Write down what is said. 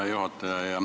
Hea juhataja!